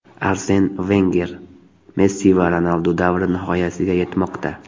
Arsen Venger: Messi va Ronaldu davri nihoyasiga yetmoqda !